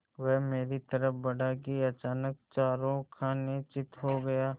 वह मेरी तरफ़ बढ़ा कि अचानक चारों खाने चित्त हो गया